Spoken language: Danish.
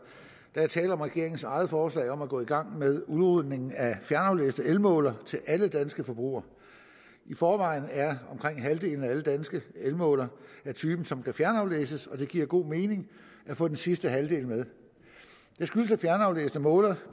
der er tale om regeringens eget forslag om at gå i gang med udrulningen af fjernaflæste elmålere til alle danske forbrugere i forvejen er omkring halvdelen af alle danske elmålere af typen som kan fjernaflæses og det giver god mening at få den sidste halvdel med det skyldes at fjernaflæste målere